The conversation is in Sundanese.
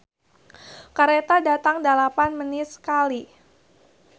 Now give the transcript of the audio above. "Kareta datang dalapan menit sakali"